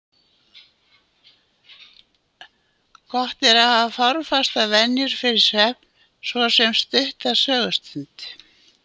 Gott er að hafa formfastar venjur fyrir svefn, svo sem stutta sögustund.